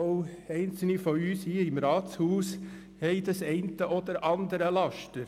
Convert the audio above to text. Auch einzelne von uns hier im Rathaus haben das eine oder andere Laster.